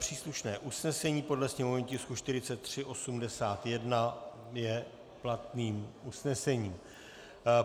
Příslušné usnesení podle sněmovního tisku 4381 je platným usnesením.